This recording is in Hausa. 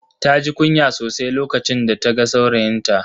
Taji kunya sosai lokacin da ta ga saurayinta.